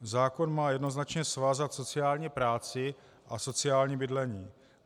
Zákon má jednoznačně svázat sociální práci a sociální bydlení.